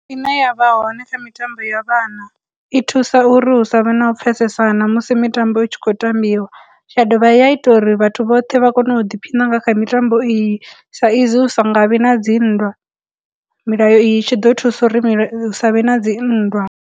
Ine yavha hone kha mitambo ya vhana, i thusa uri hu sa vhe na u pfesesana musi mitambo i tshi khou tambiwa, ya dovha ya ita uri vhathu vhoṱhe vha kone u ḓiphina nga kha mitambo iyi, sa izwi hu sa nga vhi na dzinndwa milayo iyi i tshi ḓo thusa uri hu sa vhe na dzinndwa.